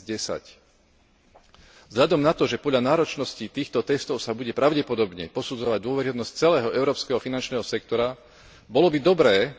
2010. Vzhľadom na to, že podľa náročnosti týchto testov sa bude pravdepodobne posudzovať dôveryhodnosť celého európskeho finančného sektora, bolo by dobré,